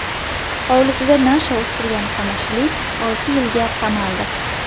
Hovlisida nasha o‘stirgan qamashilik olti yilga qamaldi.